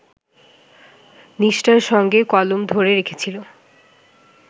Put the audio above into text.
নিষ্ঠার সঙ্গে কলম ধরে রেখেছিল